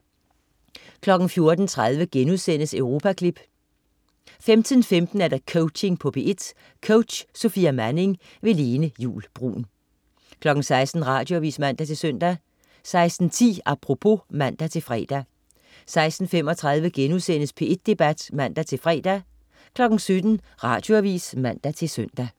14.30 Europaklip* 15.15 Coaching på P1. Coach: Sofia Manning. Lene Juul Bruun 16.00 Radioavis (man-søn) 16.10 Apropos (man-fre) 16.35 P1 Debat* (man-fre) 17.00 Radioavis (man-søn)